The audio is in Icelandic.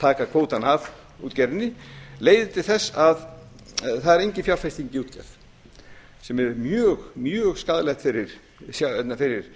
taka kvótann af útgerðinni leiðir til þess að það er engin fjárfesting í útgerð sem er mjög skaðlegt fyrir